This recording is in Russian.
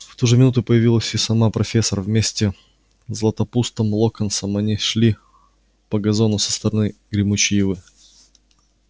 в ту же минуту появилась и сама профессор вместе с златопустом локонсом они шли по газону со стороны гремучей ивы